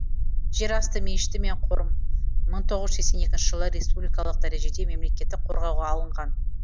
жер асты мешіті мен қорым мың тоғыз жүз сексен екінші жылы республикалық дәрежеде мемлекеттік қорғауға алынған